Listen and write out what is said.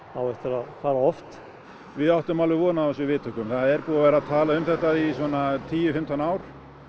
á eftir að fara oft við áttum alveg von á þessum viðtökum það er búið að tala um þetta í tíu fimmtán ár